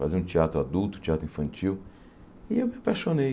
Faziam teatro adulto, teatro infantil, e eu me apaixonei.